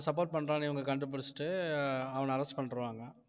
அவங்களுக்கு support பண்றான்னு இவங்க கண்டுபிடிச்சுட்டு அவன arrest பண்ணிடுவாங்க